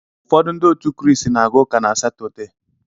Ụfọdụ Ndị otu Kraịst na-aga uka na Satọde.